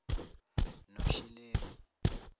noshilemi